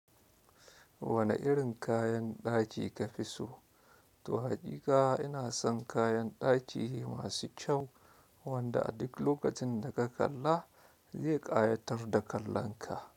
Wane irin kayan ɗaki ka fi so to haƙiƙa, ina son kayan ɗaki masu kyau, wanda a duk lokacin da ka kalla zai ƙayatar da kallon ka.